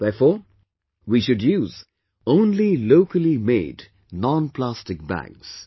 Therefore, we should use only locally made nonplastic bags